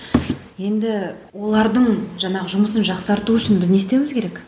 енді олардың жаңағы жұмысын жақсарту үшін біз не істеуіміз керек